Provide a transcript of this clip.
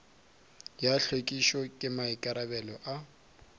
ya hlwekišo ke maikarabelo a